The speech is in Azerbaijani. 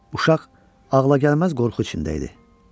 Uşaq ağlagəlməz qorxu içində idi.